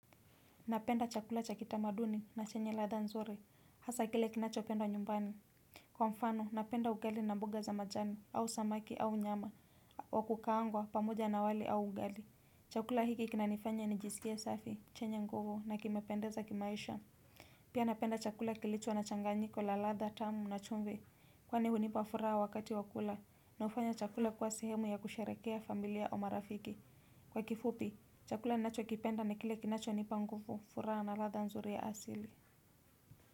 Napenda chakula cha kitamaduni na chenye ladha nzuri, hasa kile kinachopenda wa nyumbani. Kwa mfano, napenda ugali na mboga za majani, au samaki, au nyama, wakukaangwa pamoja na wali au ugali. Chakula hiki kinanifanya nijisikie safi, chenye nguvu na kimependeza kimaisha. Pia napenda chakula kilicho na changanyiko la ladha tamu na chumvi, kwani hunipa furaha wakati wa kula, na hufanya chakula kuwa sehemu ya kusherehekea familia au marafiki. Kwa kifupi, chakula ninachokipenda ni kile kinachonipa nguvu furaha ladha nzuri ya asili.